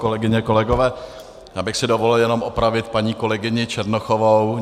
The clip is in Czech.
Kolegyně, kolegové, já bych si dovolil jenom opravit paní kolegyni Černochovou.